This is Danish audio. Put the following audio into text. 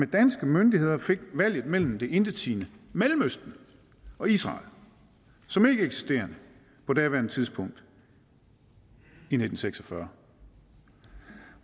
danske myndigheder fik valget mellem det intetsigende mellemøsten og israel som ikke eksisterede på daværende tidspunkt i nitten seks og fyrre